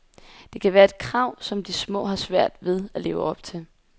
Det kan være et krav, som de små har svært ved at leve op til.